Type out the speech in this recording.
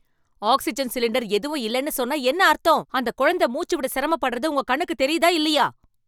Oxygen cylinder எதுவும் இல்லனு சொன்னா என்ன அர்த்தம்? அந்த குழந்தை மூச்சு விட சிரமப்படுறது உங்க கண்ணுக்கு தெரியுதா இல்லையா?